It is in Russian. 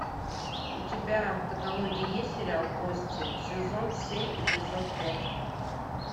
у тебя в каталоге есть сериал кости сезон семь эпизод пять